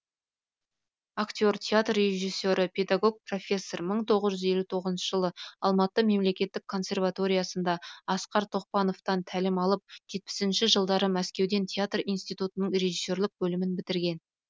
актер театр режиссері педагог профессор мың тоғыз жүз елу тоғызыншы жылы алматы мемлекеттік консерваториясында асқар тоқпановтан тәлім алып жетпісінші жылдары мәскеудегі театр иниститутының режиссерлік бөлімін бітірген